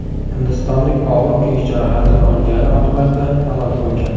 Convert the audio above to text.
Hindistonlik og‘ir kuyish jarohatini olgani oqibatida halok bo‘lgan.